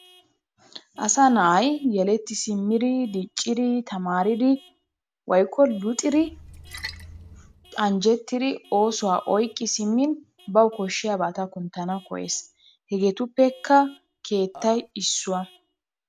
Asaa na'aay yelettti simiddi diccidi tamariddi woykko luxiddi anjjettidi osuwaa oyqqi simin bawu koshiyabattaa kunttanawu koyees, hegetuppekka keettaay isuwa.